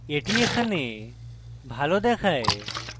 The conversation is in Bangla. এটি এখানে ভালো দেখায়